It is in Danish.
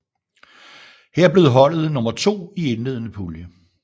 Her blev holdet nummer to i indledende pulje